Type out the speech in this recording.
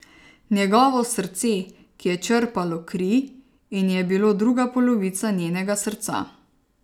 Njegovo srce, ki je črpalo kri in je bilo druga polovica njenega srca.